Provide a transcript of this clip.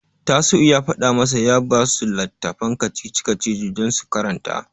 Tasi'u ya faɗa masa ya basu littafin kacici-kacici don su karanta.